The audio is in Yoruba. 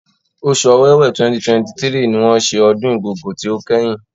Oṣù Ọwẹ́wẹ̀ 2023 ni wọ́n ṣe ọdún Igogo ti ó kẹ́yìn.